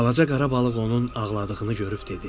Balaca qara balıq onun ağladığını görüb dedi: